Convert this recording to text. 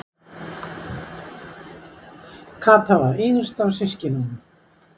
Kata var yngst af systkinunum.